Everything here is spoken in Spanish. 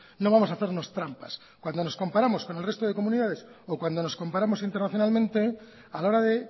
no vamos a hacernos trampas cuando nos comparamos con el resto de comunidades o cuando nos comparamos internacionalmente a la hora de